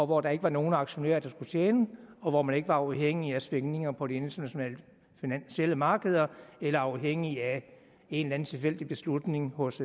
hvor der ikke var nogen aktionærer der skulle tjene og hvor man ikke var afhængig af svingninger på de internationale finansielle markeder eller afhængig af en eller en tilfældig beslutning hos